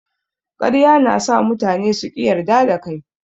Ƙarya na sa mutane su ƙi yarda da kai.